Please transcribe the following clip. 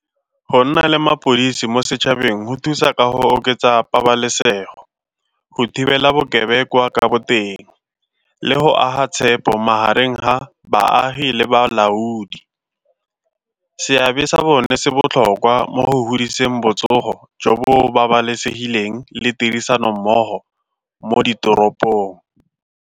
Go nna le mapodisi mo setšhabeng go thusa ka go oketsa pabalesego, go thibela bokebekwa ka boteng le go aga tshepo magareng ga baagi balaodi. Seabe sa bone se botlhokwa mo go humiseng botsogo jo bo babalesegileng le tirisanommogo mo ditoropong.